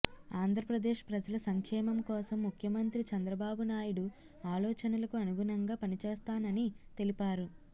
ఆంధ్రప్రదేశ్ ప్రజల సంక్షేమం కోసం ముఖ్యమంత్రి చంద్రబాబునాయుడు ఆలోచనలకు అనుగుణంగా పనిచేస్తానని తెలిపారు